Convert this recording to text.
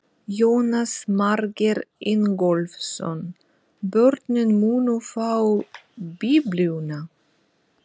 Jónas Margeir Ingólfsson: Börnin munu fá biblíuna?